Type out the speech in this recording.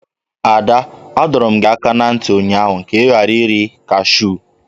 Ada, adọrum gi aka na nti ụnyahụ ka i ghara iri kashụ!